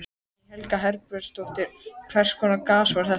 Guðný Helga Herbertsdóttir: Hvers konar gas var þetta?